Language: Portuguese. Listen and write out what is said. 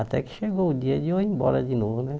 Até que chegou o dia de eu ir embora de novo, né?